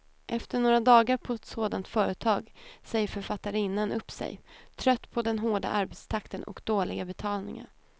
Efter några dagar på ett sådant företag säger författarinnan upp sig, trött på den hårda arbetstakten och dåliga betalningen.